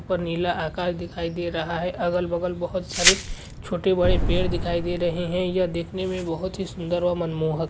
ऊपर नीला आकाश दिखाई दे रहा है अगल-बगल बहोत सारे छोटे-बड़े पेड़ दिखाई दे रहे है यह देखने में बहोत ही सुंदर और मनमोहक --